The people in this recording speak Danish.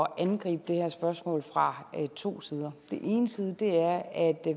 at angribe det her spørgsmål fra to sider den ene side er at